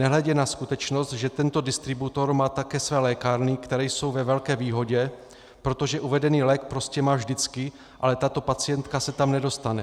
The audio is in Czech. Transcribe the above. Nehledě na skutečnost, že tento distributor má také své lékárny, které jsou ve velké výhodě, protože uvedený lék prostě má vždycky, ale tato pacientka se tam nedostane.